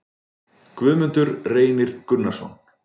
Guðmundur Reynir Gunnarsson